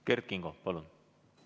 Kert Kingo, palun!